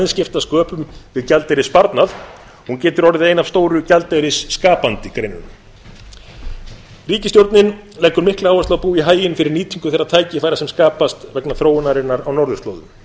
aðeins skipta sköpum við gjaldeyrissparnað hún getur orðið ein af stóru gjaldeyrisskapandi greinunum ríkisstjórnin leggur mikla áherslu á að búa í haginn fyrir nýtingu þeirra tækifæra sem skapast vegna þróunarinnar á norðurslóðum